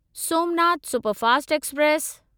Somnath superfast express